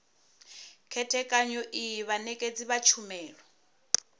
khethekanyo iyi vhanekedzi vha tshumelo